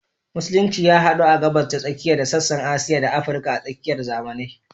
Musulunci ya hadu a Gabas ta Tsakiya da sassan Asiya da Afirka a tsakiyar zamanai.